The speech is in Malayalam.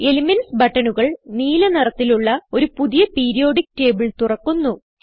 എലിമെന്റ്സ് ബട്ടണുകൾ നീല നിറത്തിലുള്ള ഒരു പുതിയ പീരിയോഡിക്ക് ടേബിൾ തുറക്കുന്നു